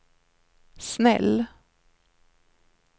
snäll